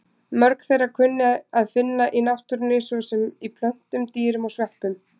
Mörg þeirra er að finna í náttúrunni, svo sem í plöntum, dýrum og sveppum.